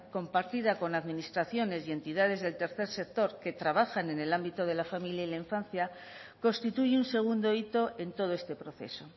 compartida con administraciones y entidades del tercer sector que trabajan en el ámbito de la familia y la infancia constituye un segundo hito en todo este proceso